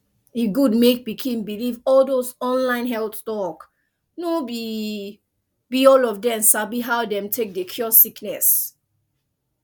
e good mek pikin believe all dose online health talk no be be all of dem sabi how dem de take cure sickness